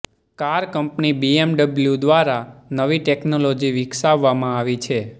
car company BMW દ્વારા નવી technology વિકસાવવામાં આવી છે